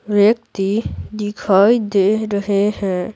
व्यक्ति दिखाई दे रहे हैं।